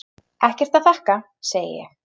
Ekkert að þakka, segi ég.